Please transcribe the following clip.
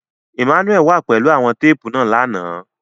Emmanuel wà pẹlu awọn teepu náa làná